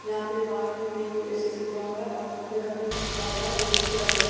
जहां पे बाहर में पी_यू_एस_एस लिखा हुआ है और फोन पे का भी लिखा हुआ है दो कुर्सी लगा हुआ है।